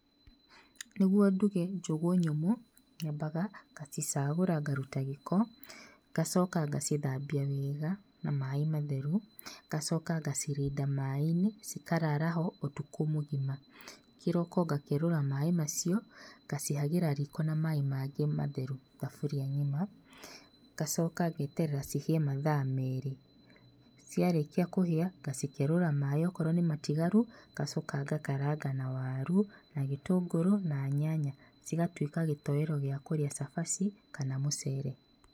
Nĩguo nduge njũgũ nyũmũ, nyambaga, gũcicagũra ngaruta gĩko, ngacoka ngacithambia wega na maaĩ matheru, ngacoka ngacirinda maĩ-inĩ, cikarara ho ũtukũ mũgima. Kĩroko ngakerũra maĩĩ macio, ngacihagĩra riko na maaĩ mangĩ matheru thaburia ng'ima, ngacoka ngeterera cihĩe mathaa merĩ. Ciarĩkia kũhĩa, ngacikerũra maĩĩ okorwo nĩ matigaru, ngacoka ngakaranga na waru na gĩtũngũrũ na nyanya, cigatuĩka gĩtowero gĩa kũrĩa cabaci kana mũcere.